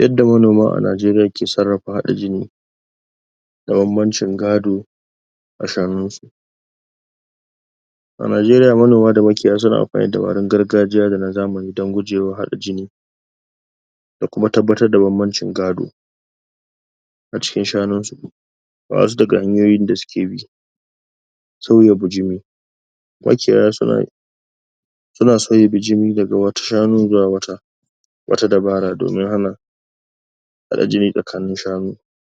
Yadda manoma a Najeriya ke sarrafa haɗa jini da bambancin gado a shanun su A Najeriya manoma da makiyaya suna amfani da magungunan gargajiya da na zamani don guejwa haɗa jini da kuma tabbatar da bambancin gado a cikin shanun su ga wasu daga hanyoyin da suke bi saboda bijimi makiyaya suna suna sauya bijimi daga wata shanu zuwa wata wata dabara domin hana haɗa jini tsakanin shanu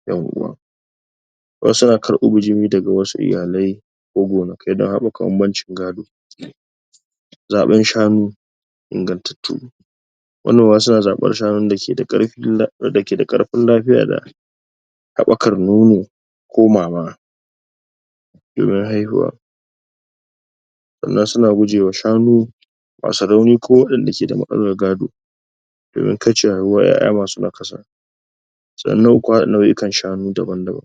ƴan uwa wasu na karɓo bijimi daga wasu iyalai ko gonakai don haɓaka bambancin gado zaɓen shanu ingantattu manoma suna zaɓan shanun da ke da ƙarfin lafiya da haɓakar nono komawa domin haihuwa sannan suna gujewa shanu masu rauni ko waɗanda ke da matsalar gado domin kaucewa haihuwar ƴaƴa masu nakasa sannan kuma haɗa nau'ikan shanu daban-daban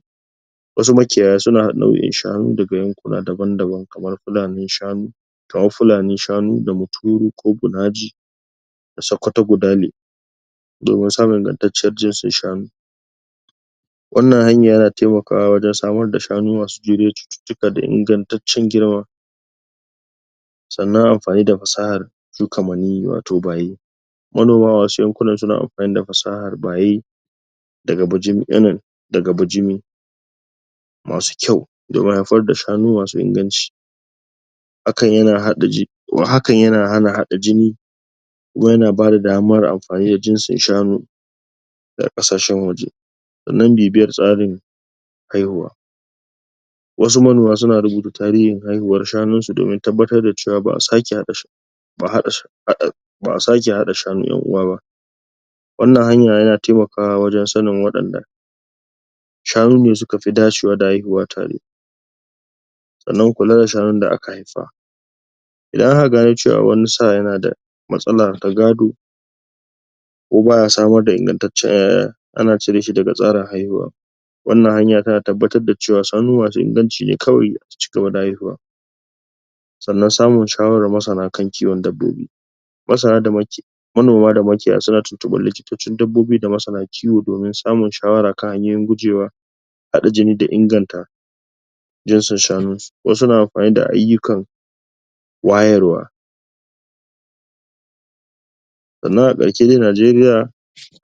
wasu makiyaya suna haɗa nau'o'in shanu daga yankuna daban-daban kamar fulanin shanu kamar fulanin shanu da mutoro ko bunaji da sakkwato budane domin samun ingantacciyar jinsin shanu wannan hanya yana taimakawa wajen samar da shanu masu juriyar cututtuka da ingantacciyar girma sannan amfani da fasahar shuka maniyyi watau baye manoma masu yankunan suna amfani da fasahar baye? daga bijimi masu kyau domin haifar da shanu masu inganci ' hakan yana haɗa hakan yana hana haɗa jini kuma yana bada daman amfani da jinsin shanu daga ƙasashen waje sannan bibiyan tsarin haihuwa wasu manoma suna rubuta tarihin haihuwar shanun su domin tabbatar da cewa ba a sake haɗa ba a haɗa? ba a sake haɗa shanu ƴan uwa ba wannan hanya yana taimakawa wajen sanin waɗanda shanu ne suka fi dacewa da haihuwa tare sannan kula da shanun da aka haifa idan aka gano cewa wani sa yana da matsala ta gado ko baya samar da ingantaccen ana cire shi daga tsarin haihuwa wannan hanya tana tabbatar da cewa shanu masu inganci ne kawai su cigaba da haihuwa sannan samun shawaran masana kan kiwon dabbobi masana da manoma da makiyaya suna tuntuɓar likitocin dabbobi da masana kiwo domin samun shawara kan hayoyin gujewa haɗa jini da inganta jinsin shanun su wasu na amfani da ayyukan wayarwa sannan a ɗauki na Najeriya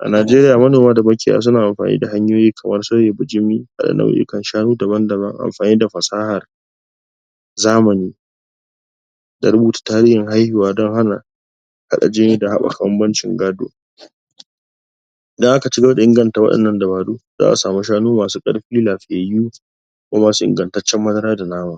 a najeriya manoma da makiyaya suna amfani da hanyoyi kamar sauya bijimi da nau'ika shanu daban-daban amfani da fasahar zamani da rubuta tarihin haihuwa don hana haɗa jini da haɓaka bambancin gado idan aka cigaba da inganta wa'innan dabaru za a samu shanu masu ƙarfi lafiyayyu kuma masu ingantaccen madara da nama